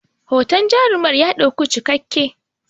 hoton jarumar ya ɗauku cikakken